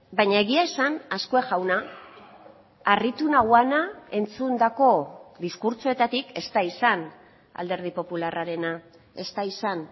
baina egia esan azkue jauna harritu nauena entzundako diskurtsoetatik ez da izan alderdi popularrarena ez da izan